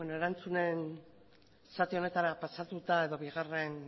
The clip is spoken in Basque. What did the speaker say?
erantzunen zati honetara pasatuta edo bigarren